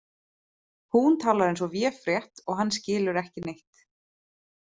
Hún talar eins og véfrétt og hann skilur ekki neitt.